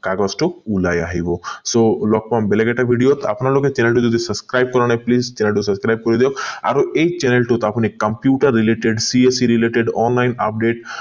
কাগজটো ওলাই আহিব so লগ পাম বেলেগ এটা video আপোনালোকে channel টো যদি subscribe কৰা নাই channel টো subscribe কৰি দিয়ক আৰু এই channel টোত আপুনি computer related car related online update